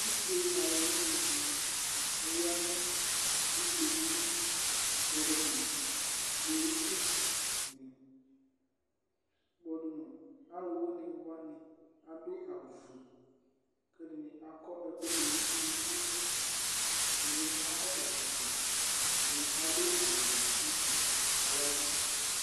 úse aluwínì dini aya nù úse dinì kpɔdu nu kpolusi, kpɔdu nu aluwínìwa ni adu awù fue, k'ɛdini akɔ ɛku dù n'unuku, ɛdini akɔ ɛkɔtɔ, ɛdini adu awù wɛ kótù k'aya vu